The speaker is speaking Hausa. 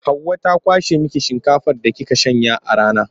Hauwa ta kwashe miki shinkafar da kika shanya a rana.